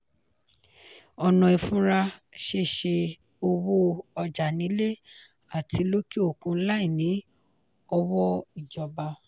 ọ̀nà ìfúnra ṣe ṣe owó ọjà nílé àti lókè òkun láì ní ọwọ́ ìjọba.